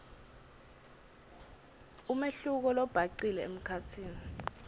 umehluko lobhacile emkhatsini